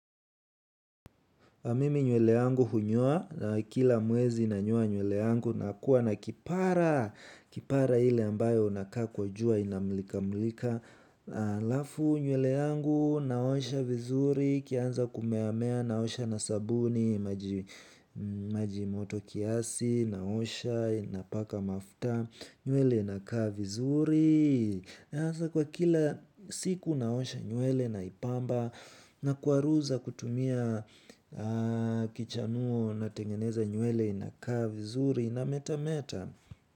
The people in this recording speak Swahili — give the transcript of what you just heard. Mimi nywele yangu hunyoa kila mwezi nanyoa nywele yangu na kuwa na kipara. Kipara ile ambayo unakaa kwa jua inamulika mulika. Alafu nywele yangu naosha vizuri ikianza kumeamea naosha na sabuni maji moto kiasi naosha napaka mafuta. Nywele inakaa vizuri. Sasa kwa kila siku naosha nywele naipamba nakwaruza kutumia kichanuo natengeneza nywele inakaa vizuri inameta meta.